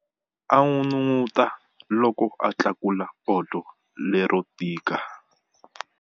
A n'unun'uta loko a tlakula poto lero tika.